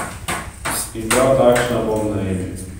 In prav takšna bom na Emi.